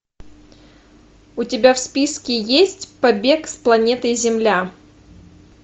у тебя в списке есть побег с планеты земля